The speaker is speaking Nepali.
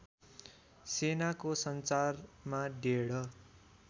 सेनाको संचारमा डेढ